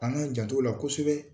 An k'an jant'ola kosɛbɛ